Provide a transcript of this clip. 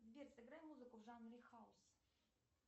сбер сыграй музыку в жанре хаус